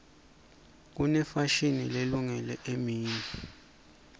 kunefashini lelungele emini